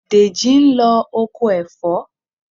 Dèjì ń lọ oko ẹ̀fọ́.